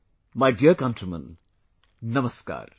My dear countrymen, Namaskar